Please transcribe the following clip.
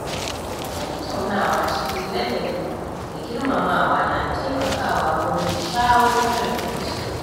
Tattaunawa cikin ladabi da girmamawa na taimakawa wurin shawo kan rikici